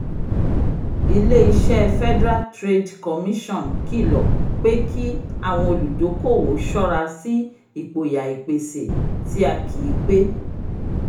ilé-iṣẹ́ federal trade commission kilọ pé kí àwọn olùdókòwò ṣọ́ra sí ìpòyà ìpèsè tí a kìí pé